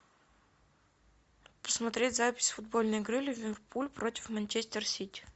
посмотреть запись футбольной игры ливерпуль против манчестер сити